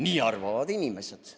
Nii arvavad inimesed.